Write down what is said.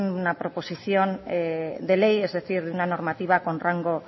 una proposición de ley es decir de una normativa con rango